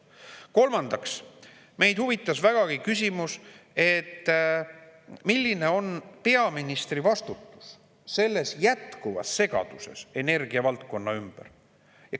Kolmandaks, meid huvitas vägagi küsimus, milline on peaministri vastutus selles jätkuvas segaduses energiavaldkonnas.